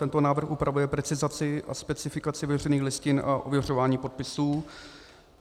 Tento návrh upravuje precizaci a specifikaci veřejných listin a ověřování podpisů.